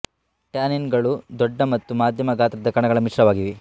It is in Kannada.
ಟ್ಯಾನಿನ್ ಗಳು ದೊಡ್ಡ ಮತ್ತು ಮಧ್ಯಮ ಗಾತ್ರದ ಕಣಗಳ ಮಿಶ್ರಣವಾಗಿವೆ